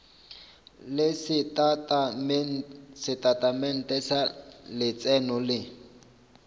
le setatamente sa letseno le